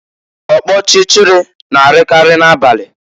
Ọkpọchịchịrị na-arịakarị n'abalị.